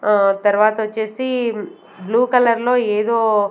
ఆ తర్వాతొచ్చేసి బ్లూ కలర్లో ఏదో--